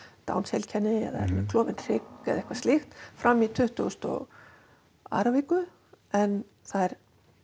Downs heilkenni eða klofinn hrygg eða eitthvað slíkt fram í tuttugustu og annarri viku en þær